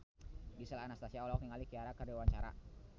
Gisel Anastasia olohok ningali Ciara keur diwawancara